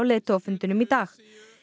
leiðtogafundinum í dag